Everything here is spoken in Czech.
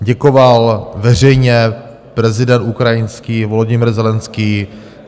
Děkoval veřejně prezident ukrajinský Volodymyr Zelenskyj.